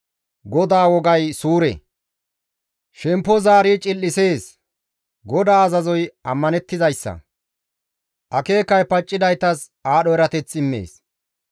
GODAA wogay suure; shemppo zaari cil7isees; GODAA azazoy ammanettizayssa; akeekay paccidaytas aadho erateth immees.